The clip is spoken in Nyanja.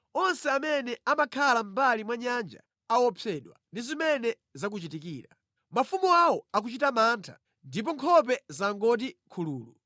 Onse amene amakhala mʼmbali mwa nyanja aopsedwa ndi zimene zakuchitikira. Mafumu awo akuchita mantha ndipo nkhope zangoti khululu.